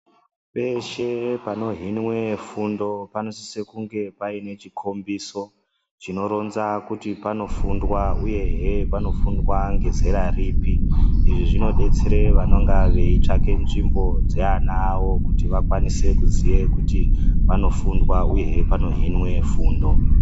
Peshe panohinwa fundo panosisa kunge paine chikombiso. Chinoronza kuti panofundwa uyehe panofundwa ngezera ripi. Izvi zvinodetsera vanonga veitsvaka nzvimbo dzeana awo kuti vakwanise kuziya kuti panofundwa uyehe panohinwe fundo.